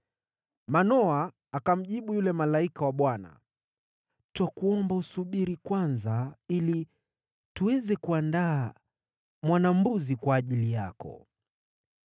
Manoa akamjibu yule malaika wa Bwana , “Twakuomba usubiri kwanza ili tuweze kuandaa mwana-mbuzi kwa ajili yako.”